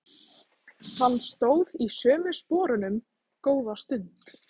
Hann stóð í sömu sporunum góða stund.